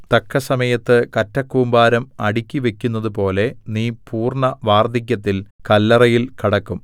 തക്കസമയത്ത് കറ്റക്കൂമ്പാരം അടുക്കിവക്കുന്നതുപോലെ നീ പൂർണ്ണവാർദ്ധക്യത്തിൽ കല്ലറയിൽ കടക്കും